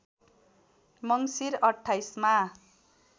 मङ्सिर २८ मा